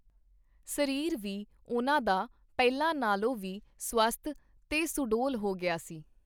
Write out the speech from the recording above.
ਸਰੀਰ ਵੀ ਉਹਨਾਂ ਦਾ ਪਹਿਲਾਂ ਨਾਲੋਂ ਵੀ ਸੁਅਸਥ ਤੇ ਸੁਡੌਲ ਹੋ ਗਿਆ ਸੀ.